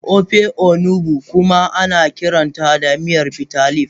Ofe onugbu kuma ana kiranta da Miyar Bitterleaf